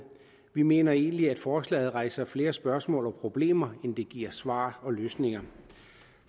vi mener egentlig at forslaget rejser flere spørgsmål og problemer end det giver svar og løsninger